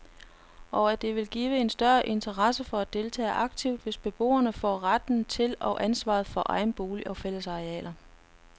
Og at det vil give en større interesse for at deltage aktivt, hvis beboerne får retten til og ansvaret for egen bolig og fællesarealer.